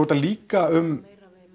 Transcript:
þetta líka um